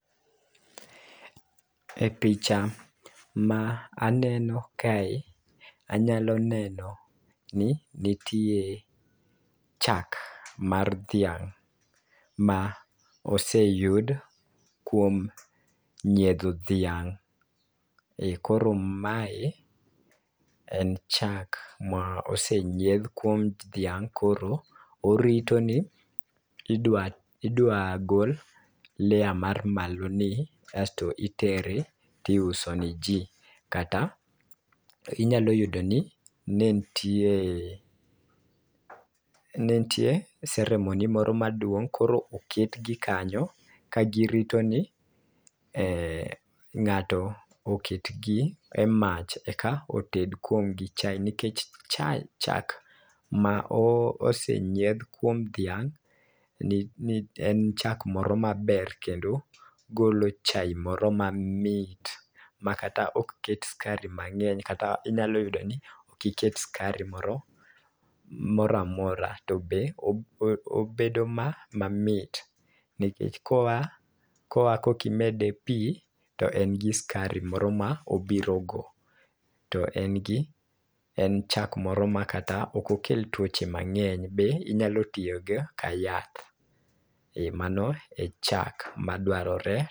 E picha ma aneno kae ,anyalo neno ni nitie chak mar dhiang' ma oseyud kuom nyiedho dhiang' e. Koro mae en chak ma osenyiedh kuom dhiang' koro orito ni idwa idwa gol layer mar malo ni asto itere tiuso ne jii. Kata inyalo yudo ni ne ntie ne ntie ceremony moro maduong koro oket gi kanyo ka girito ni e ng'ato oket gi e mach eka oted kodgi chai nikech chai chak ma osenyiedh kuom dhiang' ni ni en chak moro maber kendo golo chai moro mamit ma kata ok ket skari mang'eny kata inyalo yudo ni ok iket skari moro moramora to be oo o bedo mamit nikech koa koa kokimede pii to en gi skari moro moburo go. To en gi en chak moro ma ok kel tuoche mang'eny to be inyalo tiyo go kayath e mano e chak madwarore.